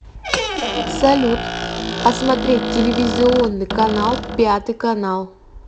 салют посмотреть телевизионный канал пятый канал